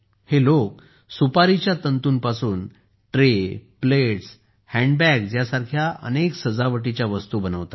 हे लोक सुपारीच्या तंतूपासून ट्रे प्लेट्स आणि हँडबॅग्स सारख्या अनेक सजावटीच्या वस्तू बनवत आहेत